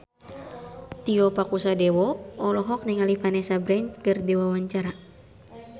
Tio Pakusadewo olohok ningali Vanessa Branch keur diwawancara